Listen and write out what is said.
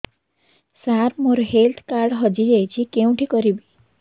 ସାର ମୋର health card ହଜି ଯାଇଛି କେଉଁଠି କରିବି